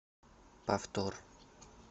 повтор